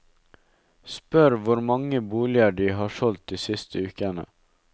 Spør hvor mange boliger de har solgt de siste ukene.